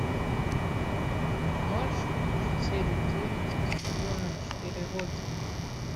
можешь включить серию девять сезона четыре родина